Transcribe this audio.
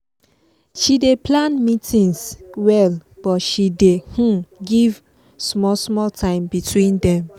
she dey plan meetings well but she dey um give small small time between them